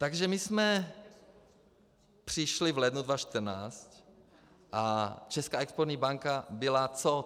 Takže my jsme přišli v lednu 2014 a Česká exportní banka byla co?